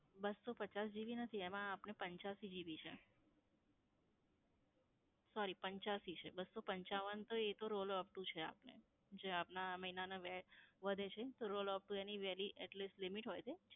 બસ્સો પચાસ GB નથી એમાં આપને પંચાસી GB છે. Sorry પંચાસી છે, બસ્સો પંચાવન તો એ તો rollover upto છે આપને જે આપના આ મહિના નાં વે, વધે છે rollover upto એની વેલી એટલે limit હોય છે.